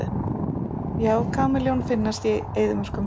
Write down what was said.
Já, kameljón finnast í eyðimörkum.